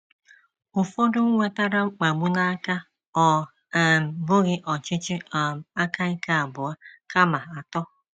Ụfọdụ nwetara mkpagbu n'aka, ọ um bụghị ọchịchị um aka ike abụọ, kama atọ.